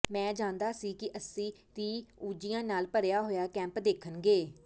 ਮੈਂ ਜਾਣਦਾ ਸੀ ਕਿ ਅਸੀਂ ਰਫਿਊਜ਼ੀਆਂ ਨਾਲ ਭਰਿਆ ਹੋਇਆ ਕੈਂਪ ਦੇਖਣਗੇ